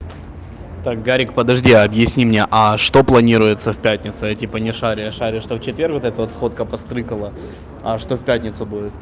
так гарик подожди объясни мне а что планируется в пятницу я типа не шарю я шарю что в четверг вот это вот сходка по стрыкало а что в пятницу будет